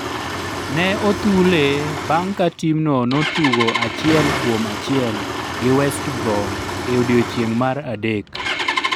Ne othule bang' ka timno notugo achiel kuom achiel gi West Brom e odiechieng' mar adek.